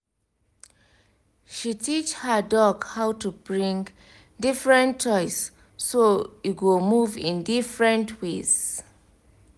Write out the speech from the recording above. she teach her dog how to bring different toys so e go move in different ways